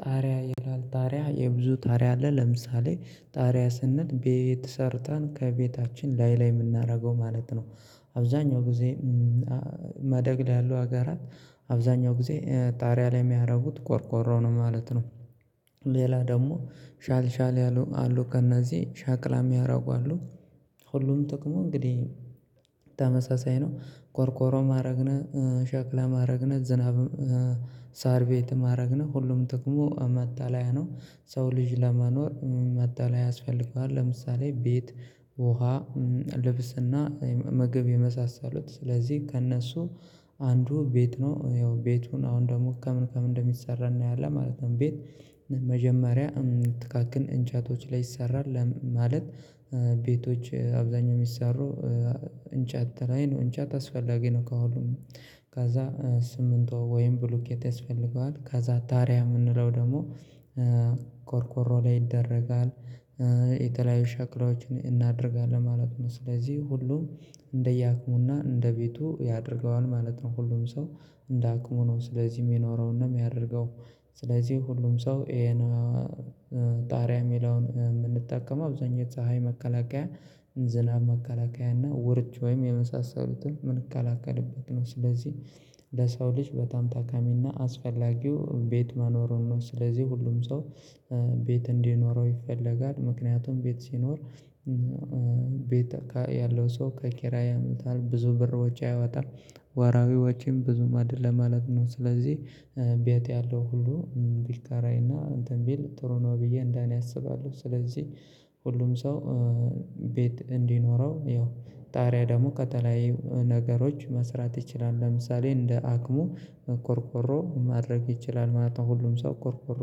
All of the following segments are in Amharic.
ጣሪያ ይላል ጣሪያ የብዙ ጣሪያ አለ ለምሳሌ ጣሪያ ስንል ቤት ሰርተን ከቤታችን ላይ ላይ የምናደርገው ማለት ነው። አብዛኛው ጊዜ ማደግ ላይ ያሉ አገራት አብዛኛው ጊዜ ጣሪያ ላይ የሚያደርጉት ቆርቆሮ ነው ማለት ነው። ሌላ ደግሞ ሻል ሻል ያሉ አሉ ከእነዚህ ሻክላ የሚያደርጉ አሉ። ሁሉም ጥቅሙ እንግዲህ ተመሳሳይ ነው። ቆርቆሮም አረገን ሸክላም አረግን ዝናብ ሳር ቤትም አረግን ሁሉም ጥቅሙ መጠለያ ነው። ሰው ልጅ ለመኖር መጠለያ ያስፈልገዋል። ለምሳሌ ቤት ውሃ ልብስና ምግብ የመሳሰሉት ስለዚህ ከእነሱ አንዱ ቤት ነው። ያው ቤቱን አሁን ደግሞ ከምን ከምን እንደሚሰራ እናያለን ማለት ነው። ቤት መጀመሪያ ትቃቅን እንጨቶች ላይ ይሰራል። ማለት ቤቶች አብዛኛው የሚሰሩ እንጨት ላይ ነው እንጨት አስፈላጊ ነው። ከሁሉም ከዛ ሲሚንቶ ወይም ብሎኬት ያስፈልገዋል። ከዛ ጣሪያ የምንለው ደግሞ ቆርቆሮ ላይ ይደረጋል። የተለያዩ ሸክሎዎችን እናደርጋለን ማለት ነው። ስለዚህ ሁሉም እንደየአቅሙና እንደቤቱ ያደርገዋል ማለት ነው። ሁሉም ሰው እንደአቅሙ ነው። ስለዚህ የሚኖረው እና የሚያደርገው ስለዚህ ሁሉም ሰው ይሄን ጣሪያ ሚለውን የምንጠቀመው አብዛኛው ፀሀይ መከላከያ ዝናብ መከላከያ እና ወርጭ ወይም የመሳሰሉትን የምንከላከልበት ነው። ስለዚህ ለሰው ልጅ በጣም ጠቃሚና አስፈላጊው ቤት መኖሩን ነው። ስለዚህ ሁሉም ሰው ቤት እንዲኖረው ይፈለጋል። ምክንያቱም ቤት ሲኖር ቤት ያለው ሰው ከኪራይ ያመጣል ብዙ ብር ውጪ አይወጣም። ወራሃዊ ወጪም ብዙም አይደለም ማለት ነው። ስለዚህ ቤት ያለው ሁሉ ቢካራይና እንትን ቢል ጥሩ ነው ብዬ እንደኔ አስባለሁ። ስለዚህ ሁሉም ሰው ቤት እንዲኖረው ያው ጣሪያ ደግሞ ከተለያዩ ነገሮች መስራት ይችላል። ለምሳሌ እንደ አቅሙ ቆርቆሮ ማድረግ ይችላል ማለት ነው። ሁሉም ሰው ቅርቆሮ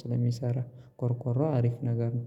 ስለሚሰራ ቆርቆሮ አሪፍ ነገር ነው